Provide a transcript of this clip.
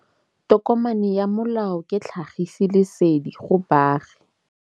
Tokomane ya molao ke tlhagisi lesedi go baagi.